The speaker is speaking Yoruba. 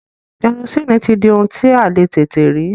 Kẹrosini ti di ohun tí a le tètè rí.